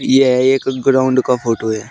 यह एक ग्राउंड का फोटो है।